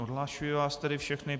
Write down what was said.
Odhlašuji vás tedy všechny.